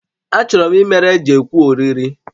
Achọrọ m ịmere Jekwu oriri